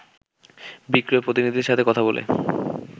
বিক্রয় প্রতিনিধিদের সাথে কথা বলে